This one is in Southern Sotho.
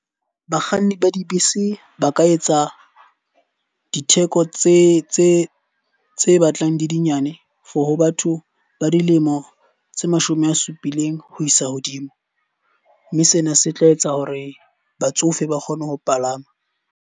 Bakganni ba dibese ba ka etsa ditheko tse batlang di le nyane for ho batho ba dilemo tse mashome a supileng ho isa hodimo. Mme sena se tla etsa hore batsofe ba kgone ho palama.